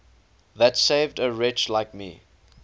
that saved a wretch like me